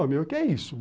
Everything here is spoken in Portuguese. O meu, o que é isso?